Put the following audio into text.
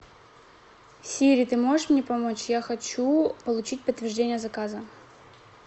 сири ты можешь мне помочь я хочу получить подтверждение заказа